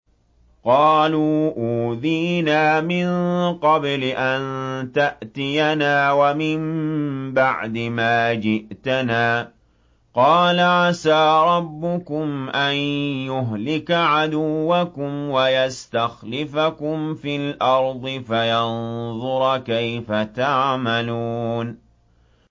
قَالُوا أُوذِينَا مِن قَبْلِ أَن تَأْتِيَنَا وَمِن بَعْدِ مَا جِئْتَنَا ۚ قَالَ عَسَىٰ رَبُّكُمْ أَن يُهْلِكَ عَدُوَّكُمْ وَيَسْتَخْلِفَكُمْ فِي الْأَرْضِ فَيَنظُرَ كَيْفَ تَعْمَلُونَ